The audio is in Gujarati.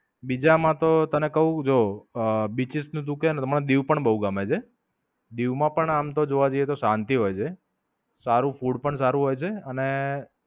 બીજા માં તો તને કઉં જો. beaches તુ કે એમાં દીવ પણ બોવ ગમે છે. દીવ માં પણ આમ તો જોવા જઇયે તો શાંતિ હોય છે. સારું beaches પણ સારું હોય છે અન